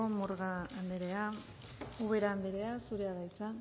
murga andrea ubera andrea zurea da hitza